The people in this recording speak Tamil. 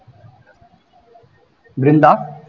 பிருந்தா